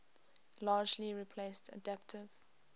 largely replaced adaptive